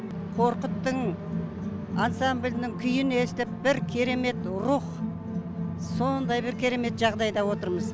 қорқыттың ансамблінің күйін естіп бір керемет рух сондай бір керемет жағыдайда отырмыз